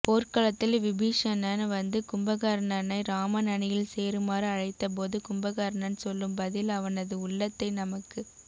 போர்க்களத்தில் விபீஷணன் வந்து கும்பகர்ணனை ராமன் அணியில் சேருமாறு அழைத்தபோது கும்பகர்ணன் சொல்லும் பதில் அவனது உள்ளத்தை நமக்குப்